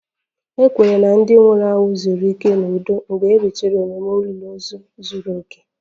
A kwenyere na ndị nwụrụ anwụ zuru ike n'udo mgbe a rụchara ememe olili ozu zuru oke